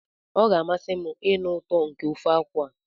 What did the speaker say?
Ọ ga-amasị m ịnụ ụtọ nke ofe akwu a.